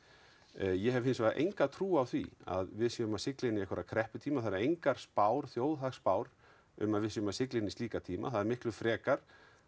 ég hef hins vegar enga trú á því að við séum að sigla inn í einhverja krepputíma það eru engar þjóðhagsspár um að við séum að sigla inn í slíka tíma það er frekar